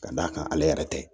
Ka d'a kan ale yɛrɛ tɛ